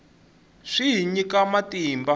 swi hi nyika matimba